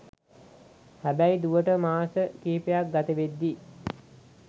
හැබැයි දුවට මාස කිහිපයක් ගතවෙද්දී